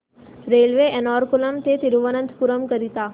railway Ernakulam ते थिरुवनंतपुरम करीता